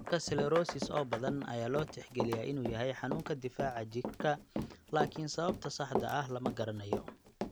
Cudurka 'sclerosis' oo badan ayaa loo tixgaliyaa inuu yahay xanuunka difaaca jirka laakiin sababta saxda ah lama garanayo.